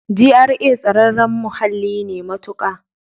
GRA tsararren muhalli ne matuƙa.